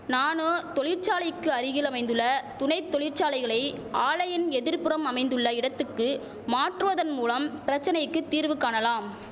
நானோ தொழிற்சாலைக்கு அருகில் அமைந்துள்ள துணை தொழிற்சாலைகளை ஆலையின் எதிர்புறம் அமைந்துள்ள இடத்துக்கு மாற்றுவதன் மூலம் பிரச்சனைக்கு தீர்வு காணலாம்